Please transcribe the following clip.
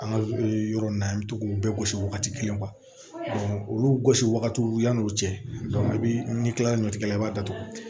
An ka yɔrɔ in na an bɛ to k'u bɛɛ gosi wagati kelen olu gosi wagatiw yan'o cɛ i bi n'i kila ɲɔtigɛ la i b'a datugu